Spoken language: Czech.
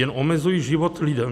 Jen omezují život lidem.